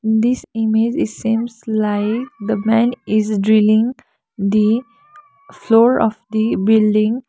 this image is seems like the man is drilling the floor of the building.